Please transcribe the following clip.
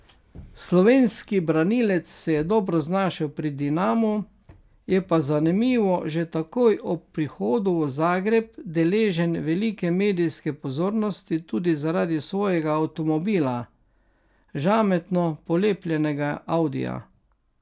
Slovenski branilec se je dobro znašel pri Dinamu, je pa zanimivo že takoj ob prihodu v Zagreb deležen velike medijske pozornosti tudi zaradi svojega avtomobila, žametno polepljenega audija.